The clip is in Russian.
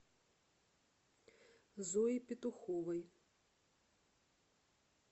зои петуховой